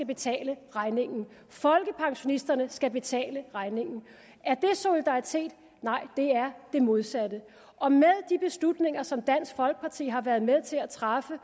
betale regningen folkepensionisterne skal betale regningen er det solidaritet nej det er det modsatte og med de beslutninger som dansk folkeparti har været med til at træffe